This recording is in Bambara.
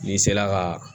N'i sela ka